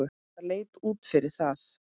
Það leit út fyrir það.